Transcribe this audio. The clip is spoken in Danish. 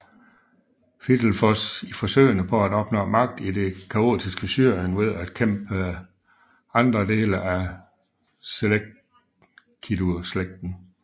Fidelfos i forsøgene på at opnå magt i det kaotiske Syrien ved at bekæmpe andre dele af seleukideslægten